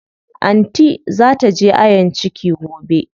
Anty zaa taje ayon ciki gobe.